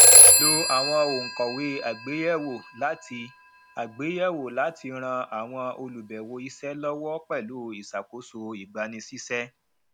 lò àwọn ònkòwé àgbèyèwò láti àgbèyèwò láti ràn àwọn olùbèwò isé lọwọ pẹlú iṣakoso ìgbanisísé